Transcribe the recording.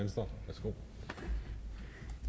selv